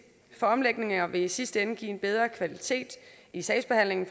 for omlægninger vil i sidste ende give en bedre kvalitet i sagsbehandlingen